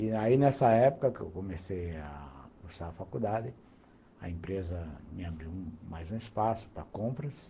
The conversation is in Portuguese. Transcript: E aí nessa época que eu comecei a cursar a faculdade, a empresa me abriu mais um espaço para compras.